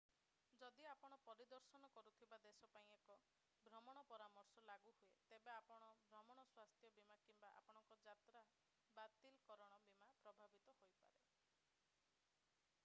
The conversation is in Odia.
ଯଦି ଆପଣ ପରିଦର୍ଶନ କରୁଥିବା ଦେଶ ପାଇଁ ଏକ ଭ୍ରମଣ ପରାମର୍ଶ ଟ୍ରାଭେଲ୍ ଆଡଭାଇଜରି ଲାଗୁ ହୁଏ ତେବେ ଆପଣଙ୍କ ଭ୍ରମଣ ସ୍ୱାସ୍ଥ୍ୟ ବୀମା କିମ୍ବା ଆପଣଙ୍କର ଯାତ୍ରା ବାତିଲକରଣ ବୀମା ପ୍ରଭାବିତ ହୋଇପାରେ।